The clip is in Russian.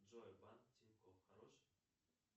джой банк тинькофф хорош